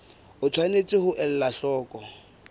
o tshwanetse ho ela hloko